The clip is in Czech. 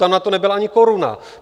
Tam na to nebyla ani koruna.